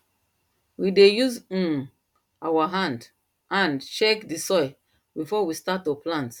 we dey use um our hand hand check the soil before we start to plant